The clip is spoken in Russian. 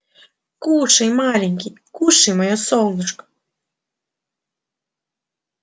кушай маленький кушай моё солнышко